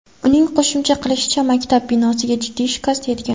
Uning qo‘shimcha qilishicha, maktab binosiga jiddiy shikast yetgan.